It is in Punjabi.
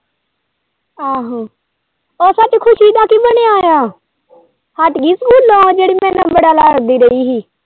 ਆਹੋ ਉਹ ਸੱਚ ਖ਼ੁਸੀ ਦਾ ਕੀ ਬਣਿਆ ਆ ਹਟ ਗਈ ਸਕੂਲੋਂ ਆ ਜਿਹੜੀ ਮੇਰੇ ਨਾਲ਼ ਬੜਾ ਲੜਦੀ ਰਹੀ ਹੀ।